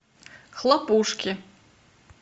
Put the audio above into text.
хлопушки